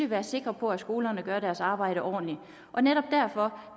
være sikre på at skolerne gør deres arbejde ordentligt og netop derfor